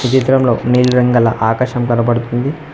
ఈ చిత్రంలో నీలి రంగల ఆకాశం కనబడుతుంది.